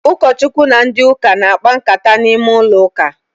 Ụkọ Chukwu na ndị ụka na-akpa nkata n'ime ụlọ uka